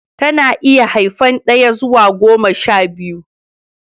Ta na iya haifan daya zuwa goma sha biyu